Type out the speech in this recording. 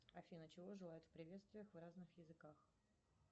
афина чего желают в приветствиях в разных языках